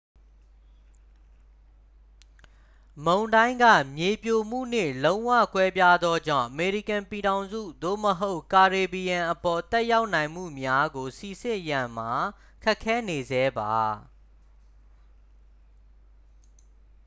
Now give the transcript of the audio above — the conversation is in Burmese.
မုန်တိုင်းက မြေပြိုမှုနှင့် လုံးဝ ကွဲပြားသောကြောင့် အမေရိကန်ပြည်ထောင်စု သို့မဟုတ် ကာရေဘီယံအပေါ် သက်ရောက်နိုင်မှုများကို စိစစ်ရန်မှာ ခက်ခဲနေဆဲပါ